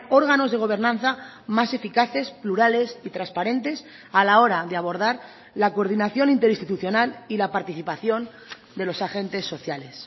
órganos de gobernanza más eficaces plurales y transparentes a la hora de abordar la coordinación interinstitucional y la participación de los agentes sociales